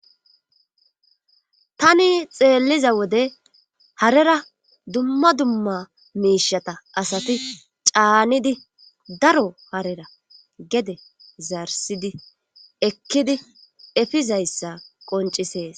tani xeelliza wode harera dumma dumma miishata asati caanidi daro harera gede zarsidi ekkidi efizayssa qoncisees